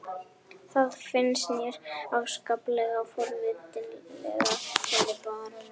Það finnst mér afskaplega forvitnilegt, sagði baróninn.